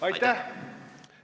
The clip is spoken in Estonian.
Aitäh!